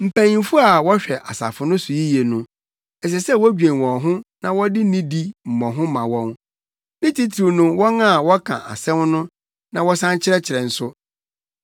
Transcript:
Mpanyimfo a wɔhwɛ asafo no so yiye no, ɛsɛ sɛ wodwen wɔn ho na wɔde nidi mmɔho ma wɔn; ne titiriw no wɔn a wɔka asɛm no na wɔsan kyerɛkyerɛ nso.